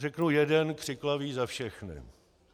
Řeknu jeden křiklavý za všechny.